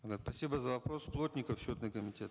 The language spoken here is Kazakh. да спасибо за вопрос плотников счетный комитет